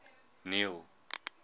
neil